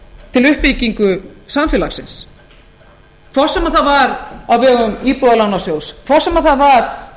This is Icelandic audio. til uppbyggingu samfélagsins hvort sem það var á vegum íbúðalánasjóðs hvort sem það var